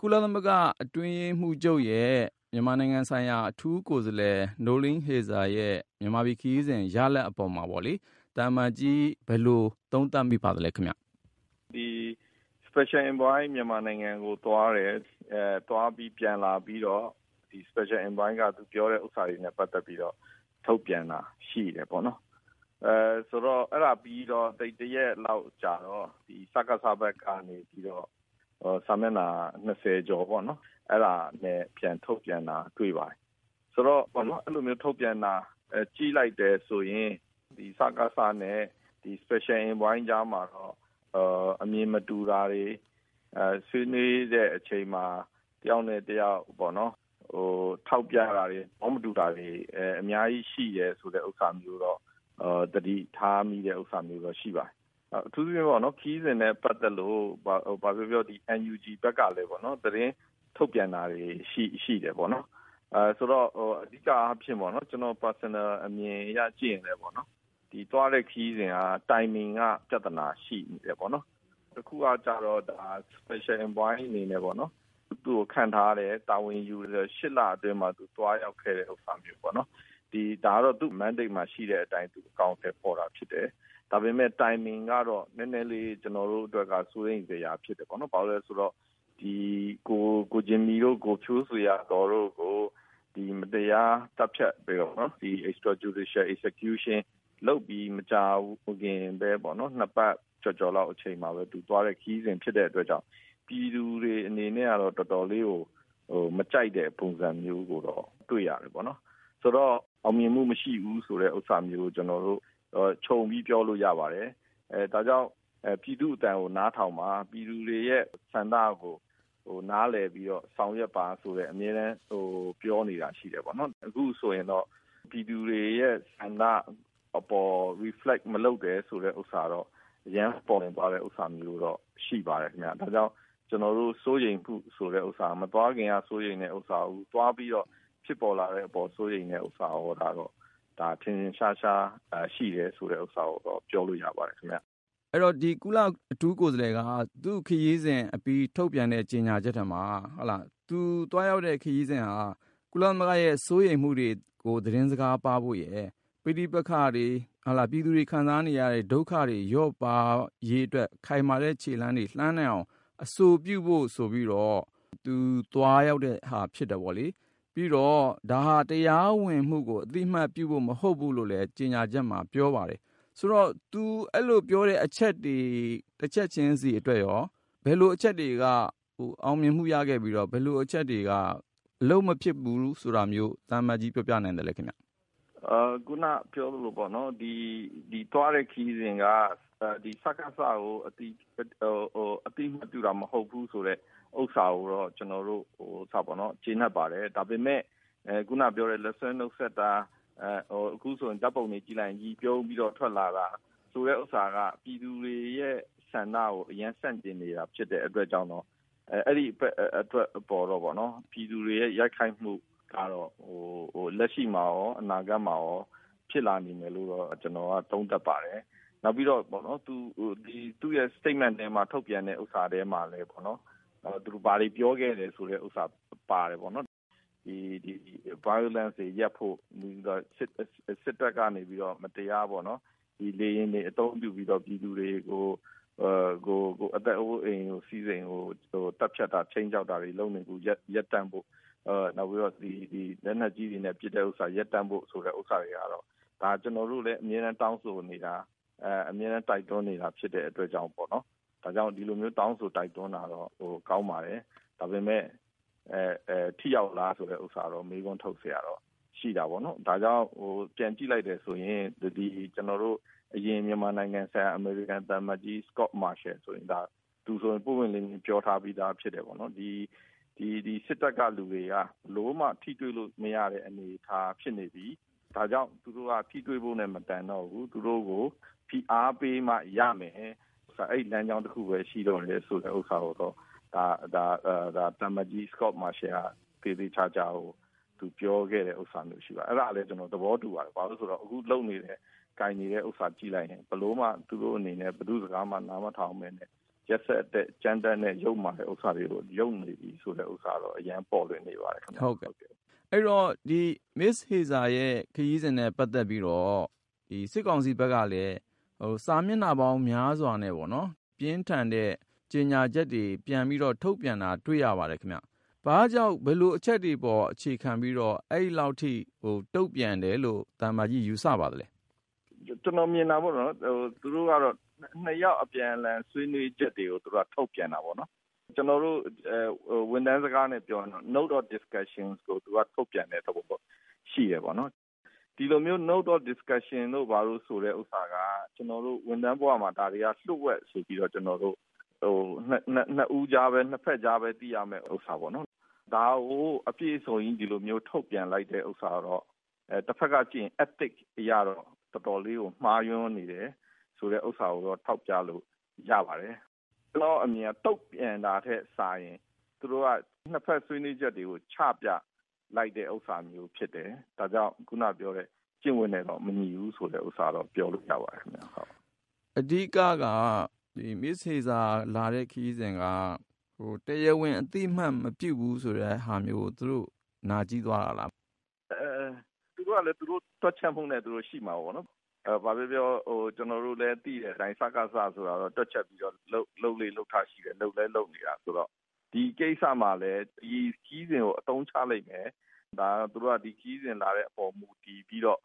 ကုလသမဂ္ဂ အတွင်းရေးမှူးချုပ်ရဲ့ မြန်မာနိုင်ငံဆိုင်ရာ အထူးကိုယ်စားလှယ် Noeleen Heyzer ရဲ့ မြန်မာနိုင်ငံ ခရီးစဉ် ရလဒ် အပေါ်မှာပေါ့လေ သံအမတ်ကြီး ဘယ်လို သုံးသပ်မိပါလဲ။ သံအမတ်ကြီး ဦးကျော်မိုးထွန်း။ ။ Special Envoy မြန်မာနိုင်ငံကို သွားတယ်။ သွားပြီး ပြန်လာပြီးတော့ ဒီ special envoy က ပြောတာတွေနဲ့ ပတ်သက်ပြီး ထုတ်ပြန်တာ ရှိတယ်ပေါ့နော်။ အဲဒါ ပြီးတော့ တရက်လောက် ကြာတော့ စကစ ဘက်က နေပြီးတော့ စာမျက်နှာ ၂၀ ကျော်ပေါ့နော် အဲဒါ ပြန်ထုတ်ပြန်တာ တွေ့ပါတယ်။ အဲလို ထုတ်ပြန်တာ ကြည့်လိုက်တယ်ဆိုရင် စကစ နဲ့ Special Envoy ကြားမှာတော့ အမြင်မတူတာတွေ၊ ဆွေးနွေးတဲ့ အချိန်မှာ တယောက်နဲ့ တယောက် ထောက်ပြတဲ့ဟာတွေ၊ သဘောမတူတာတွေ အများကြီး ရှိတယ် ဆိုတာမျိုးတော့ သတိထားမိတာမျိုးတော့ ရှိပါတယ်။ အထူးသဖြင့်တော့ ခရီးစဉ်နဲ့ ပတ်သက်ပြီး ဘာပြောပြော ဒီ NUG ဘက်ကလည်း သတင်းထုတ်ပြန်တာတွေ ရှိတယ်ပေါ့နော်။ ဆိုတော့ အဓိက အားဖြင့်ပေါ့နော် ကျနော့် ပုဂ္ဂလိက အမြင် အရ ကြည့်ရင်လည်း ပေါ့နော် ဒီ သွားတဲ့ ခရီးစဉ်က Timing က ပြဿနာ ရှိနေတယ်ပေါ့နော်။ တခုက ကျတော့ Special Envoy အနေနဲ့ သူ့ကို ခန့်ထားတယ်၊ တာဝန်ယူတဲ့ ၈ လ အတွင်းမှာ သူ သွားရောက်ခဲ့တဲ့ ဥစ္စာမျိုးပေါ့နော်။ ဒါကတော့ သူ့ mandate မှာ ရှိတဲ့ အတိုင်း သူ အကောင်အထည် ဖော်တာ ဖြစ်တယ်။ ဒါပေမဲ့ Timing ကတော့ ကျနော်တို့ အတွက် နည်းနည်းလေး စိုးရိမ်စရာ ဖြစ်တယ်ပေါ့နော်။ ဘာဖြစ်လို့လဲ ဆိုတော့ ဒီ ကိုဂျင်မီတို့ ကိုဖြိုးဇေယျာသော်တို့ကို ဒီ မတရား သတ်ဖြတ်ပြီး မကြာခင် ၂ ပတ် ကျော်ကျော်လောက်မှာဘဲ သူ သွားတဲ့ ခရီးစဉ် ဖြစ်တဲ့ အတွက်ကြောင့် ပြည်သူတွေ အနေနဲ့တော့ တော်တော်လေးကို မကြိုက်တဲ့ ပုံစံမျိုးကိုတော့ တွေ့ရတယ်ပေါ့နော်။ ဆိုတော့ အောင်မြင်မှု မရှိဘူးဆိုတာမျိုး ကျနော်တို့ ခြုံပြီး ပြောလို့ ရပါတယ်။ ဒါကြောင့် ပြည်သူ့ အသံကို နားထောင်ပါ။ ပြည်သူတွေရဲ့ ဆန္ဒကို နားလည်ပြီးတော့ ဆောင်ရွက်ပါ ဆိုတဲ့ အမြဲတမ်း ပြောနေတာ ရှိတယ်ပေါ့။ အခု ဆိုရင်တော့ ပြည်သူတွေရဲ့ ဆန္ဒ အပေါ် Reflect မလုပ်တာကိုတော့ အရမ်း ပေါ်လွင်သွားတဲ့ ဥစ္စာမျိုးတော့ ရှိပါတယ် ခင်ဗျ။ ဒါကြောင့် ကျနော်တို့ စိုးရိမ်မှု ဆိုတာကတော့ မသွားခင်က စိုးရိမ်တဲ့ ဥစ္စာ အခု သွားပြီးတော့ ဖြစ်ပေါ်လာတဲ့ အပေါ် စိုးရိမ်တဲ့ ဥစ္စာရော ဒါ ထင်ထင်ရှားရှား ရှိတယ် ဆိုတာကိုတော့ ပြောလို့ ရပါတယ်။ ကိုဉာဏ်ဝင်းအောင်။ ။ အဲဒီတော့ ဒီ ကုလ အထူးကိုယ်စားလှယ်က သူ့ခရီးစဉ် အပြီး ထုတ်ပြန်တဲ့ ကြေညာချက်ထဲမှာ သူ သွားရောက်တဲ့ ခရီးစဉ်ဟာ ကုလသမဂ္ဂရဲ့ စိုးရိမ်မှုတွေကို သတင်းစကား ပါးဖို့ရယ်၊ ပဋိပက္ခတွေ၊ ပြည်သူတွေ ခံစားနေရတဲ့ ဒုက္ခတွေ လျော့ပါးရေး အတွက် ခိုင်မာတဲ့ ခြေလှမ်းတွေ လှမ်းနိုင်ဖို့ အဆိုပြုဖို့ ဆိုပြီးတော့ သူ သွားရောက်တဲ့ဟာ ဖြစ်တယ်ပေါ့လေ။ ပြီးတော့ ဒါဟာ တရားဝင်မှုကို အသိအမှတ်ပြုဖို့ မဟုတ်ဘူးလို့လည်း ကြေညာချက်မှာ ပြောပါတယ်။ ဆိုတော့ သူ အဲလို ပြောတဲ့ အချက်တွေ တချက်ချင်းစီ အတွက်ရော ဘယ်လို အချက်တွေက အောင်မြင်မှု ရခဲ့ပြီးတော့ ဘယ်လို အချက်တွေက အလုပ်မဖြစ်ဘူး ဆိုတာမျိုး သံအမတ်ကြီး ပြောပြနိုင်သလဲ ခင်ဗျ။ သံအမတ်ကြီး ဦးကျော်မိုးထွန်း။ ။ ခုန ပြောသလိုပေါ့နော်။ ဒီ သွားတဲ့ ခရီးစဉ်က စကစ ကို အသိအမှတ်ပြုတာ မဟုတ်ဘူးဆိုတဲ့ ဥစ္စာကိုတော့ ကျနော်တို့ ကျေနပ်ပါတယ်။ ဒါပေမယ့် ခုန ပြောတဲ့ လက်စွဲ နုတ်ဆက်တာ၊ အခုဆိုရင် ဓာတ်ပုံတွေ ကြည့်လိုက်ရင် ရယ် ပြုံးပြီးတော့ ထွက်လာတာ ဆိုတာက ပြည်သူတွေရဲ့ ဆန္ဒကို အရမ်း ဆန့်ကျင်နေတာ ဖြစ်တဲ့ အတွက်တော့ ပြည်သူတွေရဲ့ ရိုက်ခတ်မှုကတော့ လက်ရှိမှာရော အနာဂတ်မှာရော ဖြစ်လာနေမယ်လို့တော့ ကျနော်က သုံးသပ်ပါတယ်။ နောက်ပြီးတော့ သူ့ရဲ့ Statement ထဲမှာ ထုတ်ပြန်တဲ့ ဟာထဲမှာလည်း ဘာတွေ ပြောခဲ့တယ် ဆိုတာ ပါတယ်ပေါ့နော်။ ဒီ Violence တွေ ရပ်ဖို့၊ စစ်တပ်ကနေ မတရား လေယာဉ်တွေ အသုံးပြုပြီး ပြည်သူတွေကို အသက် အိုးအိမ် စည်းစိမ်ကို သတ်ဖြတ်တာတွေ ခြိမ်းခြောက်တာတွေ ရပ်တန့်ဖို့ နောက်ပြီး လက်နက်ကြီးတွေနဲ့ ပစ်တာ ရပ်တန့်ဖို့ ဆိုတာတွေကတော့ ဒါ ကျနော်တို့လည်း အမြဲတမ်း တောင်းဆိုနေတာ၊ အမြဲတမ်း တိုက်တွန်းနေတာ ဖြစ်တဲ့ အတွက်ကြောင့် ဒီလိုမျိုး တောင်းဆို တိုက်တွန်းတာတော့ ကောင်းပါတယ်။ ဒါပေမယ့် ထိရောက်လား ဆိုတာကိုတော့ မေးခွန်း ထုတ်စရာ ရှိတာပေါ့နော်။ ဒါကြောင့် ပြန်ကြည့်လိုက်တယ်ဆိုရင် အရင် ကျနော်တို့ ရန်ကုန် အမေရိကန် သံအမတ်ကြီး Scot Marciel သူဆိုရင် ပွင့်ပွင့်လင်းလင်း ပြောထားပြီးသား ဖြစ်တယ်ပေါ့နော်။ ဒီ စစ်တပ်က လူတွေက ဘယ်လိုမှ ထိတွေ့လို့ မရတဲ့ အနေအထား ဖြစ်နေပြီ။ ဒါကြောင့် သူတို့ဟာ ထိတွေ့ဖို့နဲ့ မတန်တော့ဘူး။ သူတို့ကို ဖိအားပေးမှ ရမယ်။ အဲဒီ လမ်းကြောင်း တခုဘဲ ရှိတော့တယ်ဆိုတာကို သံအမတ်ကြီး Scot Marciel က သေသေချာချာကို ပြောခဲ့တဲ့ ဟာမျိုး ရှိပါတယ်။ အဲဒါလည်း ကျနော် သဘောတူပါတယ်။ ဘာလို့လဲ ဆိုတော့ အခု လုပ်နေတဲ့ ကိုင်နေတဲ့ဟာကို ကြည့်လိုက်ရင် ဘယ်လိုမှ သူတို့ အနေနဲ့ ဘယ်သူ့ စကားမှ နားမထောင်ဘဲနဲ့ ရက်စက်တဲ့ ကြမ်းတမ်းတဲ့ ယုတ်မာတဲ့ ဥစ္စာတွေကို လုပ်နေပြီ ဆိုတာကိုတော့ အရမ်းပေါ်လွင်နေပါတယ်။ ကိုဉာဏ်ဝင်းအောင်။ ။ ဟုတ်ကဲ့။ အဲဒီတော့ မစ္စ Heyzer ရဲ့ ခရီးစဉ်နဲ့ ပတ်သက်ပြီးတော့ စစ်ကောင်စီ ဘက်ကလည်း စာမျက်နှာပေါင်း များစွာနဲ့ ပြင်းထန်တဲ့ ကြေညာချက်တွေ ပြန်ပြီးတော့ ထုတ်ပြန်တာ တွေ့ရပါတယ်။ ဘာကြောင့် ဘယ်လို အချက်တွေ အပေါ် အခြေခံပြီး အဲလောက်ထိ တုံ့ပြန်တယ်လို့ သံအမတ်ကြီး ယူဆပါသလဲ။ သံအမတ်ကြီး ဦးကျော်မိုးထွန်း။ ။ ကျနော် မြင်တာကတော့ သူတို့က နှစ်ယောက် အပြန်အလှန် ဆွေးနွေးချက်တွေကို ထုတ်ပြန်တာပေါ့။ ကျနော်တို့ ဝန်ထမ်း စကားနဲ့ ပြောရင်တော့ note of discussion ကို သူက ထုတ်ပြန်တဲ့ သဘောပေါ့။ ဒီလိုမျိုး note of discussion ဆိုတဲ့ ဥစ္စာက ကျနော်တို့ ဝန်ထမ်းဘဝမှာ လျို့ဝှက် ဆိုပြီးတော့ ကျနော်တို့ ၂ ဦးကြားဘဲ သိရမယ့် ဥစ္စာပေါ့နော်။ ဒါကို အပြည့်အစုံကြီး ဒီလိုမျိုး ထုတ်ပြန်လိုက်တဲ့ ဥစ္စာကတော့ တဖက်က ကြည့်ရင် Ethic အရတော့ တော်တော်လေးကို မှားယွင်းနေတယ် ဆိုတာကိုတော့ ထောက်ပြလို့ ရပါတယ်။ ကျနော့် အမြင်တော့ တုံ့ပြန်တာထက် စာရင် သူတို့က နှစ်ဘက် ဆွေးနွေးချက်တွေကို ချပြလိုက်တဲ့ ဥစ္စာမျိုး ဖြစ်တယ်။ ဒါကြောင့် ခုနက ပြောတဲ့ ကျင့်ဝတ်နဲ့တော့ မညီဘူးဆိုတာတော့ ပြောလို့ ရပါတယ်။ ကိုဉာဏ်ဝင်းအောင်။ ။ အဓိက က မစ္စ Heyzer လာတဲ့ ခရီးစဉ်က တရားဝင် အသိအမှတ်မပြုဘူးဆိုတဲ့ ဟာမျိုးကို သူတို့ နာကျည်းသွားတာလား။ သံအမတ်ကြီး ဦးကျော်မိုးထွန်း။ ။ သူတို့ကလည်း သူတို့ တွက်ချက်မှုနဲ့ သူတို့ ရှိမှာပေါ့နော်။ ဘာပြောပြော ကျနော်တို့လည်း သိတဲ့ အတိုင်း စကစ ဆိုတာတော့ တွက်ချက်ပြီးတော့ လုပ်လေ့ လုပ်ထ ရှိတယ်၊ လုပ်လည်း လုပ်နေတာ ဆိုတော့ ဒီကိစ္စမှာလည်း ဒီခရီးစဉ်ကို အသုံးချလိမ့်မယ်။ သူတို့က ဒီ ခရီးစဉ် လာတဲ့ အပေါ် မူတည်ပြီးတော့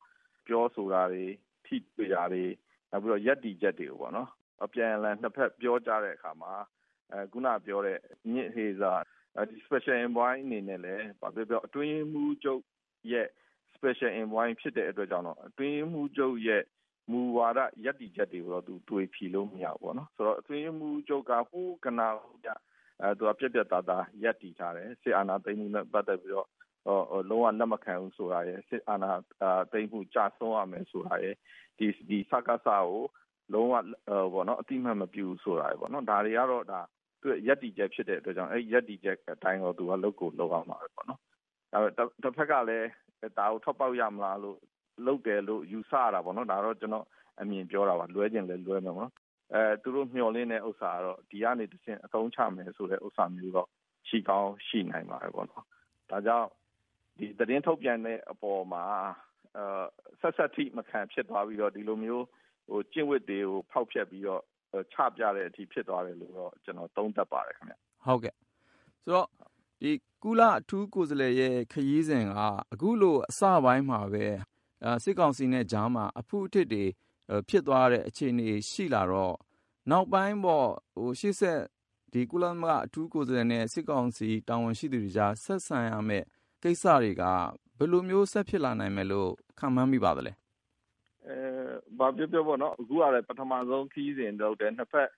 ပြောဆိုတာတွေ ထိတွေ့တာတွေ နောက်ပြီးတော့ ရပ်တည်ချက်တွေကိုပေါ့နော် အပြန်အလှန် နှစ်ဘက် ပြောကြတဲ့ အခါမှာ မစ္စ Heyzer Special Envoy အနေနဲ့လည်း ဘာပြောပြော အတွင်းရေးမှူးချုပ်ရဲ့ Special envoy ဖြစ်တဲ့ အတွက်ကြောင့် အတွင်းရေးမှူးချုပ်ရဲ့ မူဝါဒ ရပ်တည်ချက်တွေကိုတော့ သွေဖည်လို့ မရဘူးပေါ့နော်။ အတွင်းရေးမှူးချုပ်က ဟိုးကတည်းက သူက ပြတ်ပြတ်သားသား ရပ်တည်ထားတယ်။ လက်ရှိ အာဏာသိမ်းမှုနဲ့ ပတ်သက်ပြီးတော့ လုံး၀ လက်မခံဘူးဆိုပြီးတော့ စစ်အာဏာသိမ်းမှု ကျဆုံးရမယ်ဆိုတာရယ်၊ ဒီ စကစ ကို လုံး၀ အသိအမှတ် မပြုဘူးဆိုတာရယ် ပေါ့နော်။ ဒါတွေကတော့ သူ့ရဲ့ ရပ်တည်ချက် ဖြစ်တဲ့ အတွက်ကြောင့် အဲဒီ ရပ်တည်ချက် အတိုင်းဘဲ သူက လုပ်ကို လုပ်ရမှာဘဲ။ တဖက်ကလည်း ဒါကို ထွက်ပေါက် ရမလားလို့ လုပ်တယ်လို့ ယူဆ ရတာပေါ့နော်။ ဒါတော့ ကျနော့် အမြင် ပြောတာပါ။ လွဲချင်လည်း လွဲမယ်ပေါ့နော်။ သူတို့ မျှော်လင့်တဲ့ ဥစ္စာကတော့ ဒီကနေ တဆင့် အသုံးချမယ် ဆိုတာမျိုးတော့ ရှိကောင်း ရှိနိုင်တယ်ပေါ့။ ဒါကြောင့် ဒီ သတင်းထုတ်ပြန်တဲ့ အပေါ်မှာ ဆတ်ဆတ်ထိ မခံ ဖြစ်သွားပြီးတော့ ဒီလိုမျိုး ကျင့်ဝတ်တွေကို ဖောက်ဖျက်ပြီးတော့ ချပြတဲ့ အထိ ဖြစ်သွားတယ်လို့တော့ ကျနော် သုံးသပ်ပါတယ်။ ကိုဉာဏ်ဝင်းအောင်။ ။ ဟုတ်ကဲ့။ ကုလ အထူးကိုယ်စားလှယ်ရဲ့ ခရီးစဉ်က အခုလို အစပိုင်းမှာဘဲ စစ်ကောင်စီနဲ့ ကြားမှာ အဖုအထစ်တွေ ဖြစ်သွားတဲ့ အခြေအနေ ရှိသွားတော့ နောက်ပိုင်းပေါ့ ရှေ့ဆက် ကုလသမဂ္ဂ အထူးကိုယ်စားလှယ်နဲ့ စစ်ကောင်စီ တာဝန်ရှိသူတွေကြား ဆက်ဆံရမယ့် ကိစ္စတွေက ဘယ်လိုမျိုး ဆက်ဖြစ်လာနိုင်မယ်လို့ ခန့်မှန်း မိပါသလဲ။ သံအမတ်ကြီး ဦးကျော်မိုးထွန်း။ ။ ဘာပြောပြောပေါ့နော် အခုကလည်း ပထမဆုံး ခရီးစဉ် ဆိုလည်း ဟုတ်တယ် နှစ်ဘက်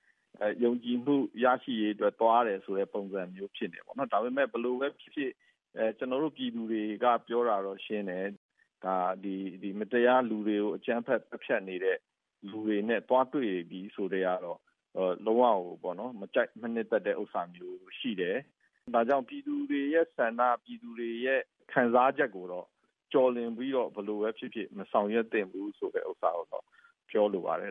ယုံကြည်မှု ရရေး အတွက် သွားတယ်ဆိုတဲ့ ပုံစံမျိုး ဖြစ်နေတယ်ပေါ့နော်။ ဒါပေမယ့် ဘယ်လိုဘဲ ဖြစ်ဖြစ် ကျနော်တို့ ပြည်သူတွေက ပြောတာတော့ ရှင်းတယ်။ ဒီ မတရား လူတွေကို အကြမ်းဖက် သတ်ဖြတ်နေတဲ့ လူတွေနဲ့ သွားတွေ့ပြီ ဆိုကတည်းကတော့ လုံး၀ ကိုပေါ့နော် မကြိုက် မနှစ်သက်တဲ့ ပုံစံမျိုး ရှိတယ်။ ဒါကြောင့် ပြည်သူတွေရဲ့ ဆန္ဒကိုတော့ ပြည်သူတွေရဲ့ ခံစားချက်ကိုတော့ ကျော်လွန်ပြီးတော့ ဘယ်လိုဘဲ ဖြစ်ဖြစ် မဆောင်ရွက်သင့်ဘူး လို့တော့ ပြောလိုပါတယ်